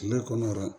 Kile kɔnɔ wa